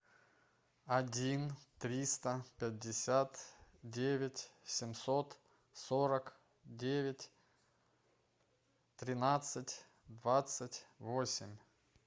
один триста пятьдесят девять семьсот сорок девять тринадцать двадцать восемь